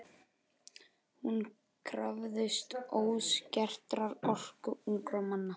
Hún krafðist óskertrar orku ungra manna.